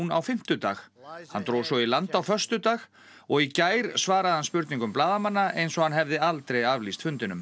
á fimmtudag hann dró svo í land á föstudag og í gær svaraði hann spurningum blaðamanna eins og hann hefði aldrei aflýst fundinum